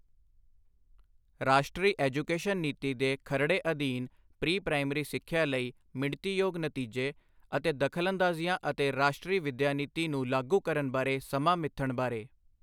ਰਾਸ਼ਟਰੀ ਐਜੂਕੇਸ਼ਨ ਨੀਤੀ ਦੇ ਖਰੜੇ ਅਧੀਨ ਪ੍ਰੀ ਪ੍ਰਾਇਮਰੀ ਸਿੱਖਿਆ ਲਈ ਮਿਣਤੀਯੋਗ ਨਤੀਜੇ ਅਤੇ ਦਖਲਅੰਦਾਜ਼ੀਆਂ ਅਤੇ ਰਾਸ਼ਟਰੀ ਵਿੱਦਿਆ ਨੀਤੀ ਨੂੰ ਲਾਗੂ ਕਰਨ ਬਾਰੇ ਸਮਾਂ ਮਿੱਥਣ ਬਾਰੇ।